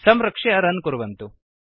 संरक्ष्य रन् कुर्वन्तु